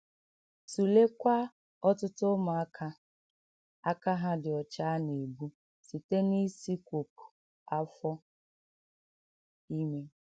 Tụleekwa ọtụtụ ụmụaka aka ha dị ọcha a na - egbu site n’isikwopụ afọ ime.